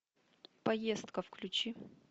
поездка включи